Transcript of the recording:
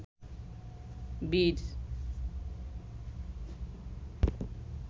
বীর